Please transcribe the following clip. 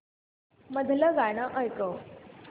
मधलं गाणं ऐकव